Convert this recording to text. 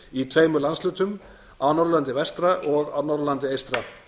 í tveimur landshlutum á norðurlandi vestra og á norðurlandi eystra